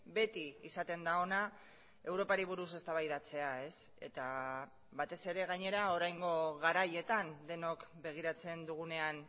beti izaten da ona europari buruz eztabaidatzea eta batez ere gainera oraingo garaietan denok begiratzen dugunean